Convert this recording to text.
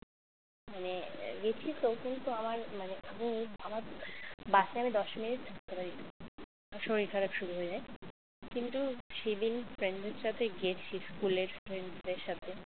মানে গেছি তখন তো আমার মানে আমি আমার বাসে আমি দশ মিনিট মানে ওই শরীর খারাপ শুরু হয়ে যায় কিন্তু সেদিন friend দের সাথে গেছি school র friend দের সাথে